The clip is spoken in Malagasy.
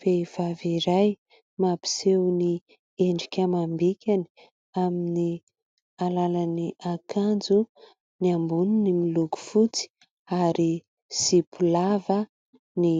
Vehivavy iray mampiseho ny endrika amam-bikany amin'ny alalan'ny akanjo. Ny amboniny miloko fotsy ary zipo lava ny